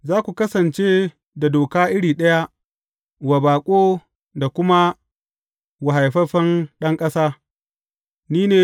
Za ku kasance da doka iri ɗaya wa baƙo da kuma wa haifaffen ɗan ƙasa.